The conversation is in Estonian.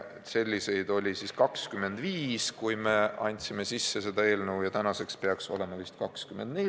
Selliseid kohti oli siis, kui me eelnõu üle andsime, 25, tänaseks peaks olema 24.